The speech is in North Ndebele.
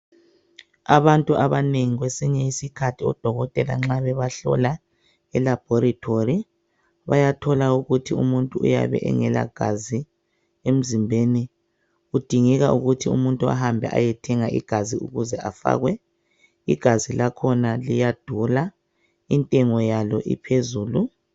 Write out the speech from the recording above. Abantu abanengi kwesinye isikhathi odokotela nxa bebahlola e laboratory bayathola ukuthi umuntu uyabe engelagazi emzimbeni kudingeka ukuthi ahambe ayethenga igazi ukuze afakwe. Igazi lakhona liyadula intengo yalo iphezulu.